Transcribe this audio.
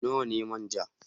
Nawa ne manja?